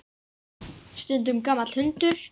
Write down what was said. Stundum gamall hundur.